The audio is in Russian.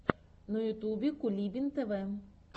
на ютубе кулибин тв